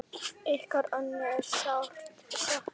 Ykkar Önnu er sárt saknað.